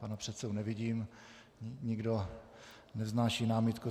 Pana předsedu nevidím, nikdo nevznáší námitku.